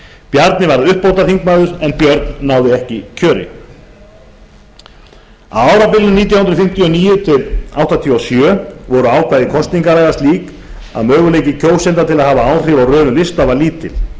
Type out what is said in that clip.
bjarni varð uppbótarþingmaður en björn náði ekki kjöri á árabilinu nítján hundruð fimmtíu og níu til nítján hundruð áttatíu og sjö voru ákvæði kosningalaga slík að möguleiki kjósenda til að hafa áhrif á röðun lista